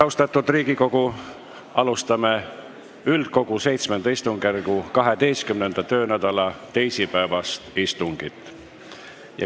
Austatud Riigikogu, alustame Riigikogu VII istungjärgu 12. töönädala teisipäevast istungit.